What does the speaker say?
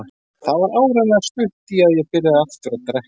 Það var áreiðanlega stutt í að ég byrjaði aftur að drekka.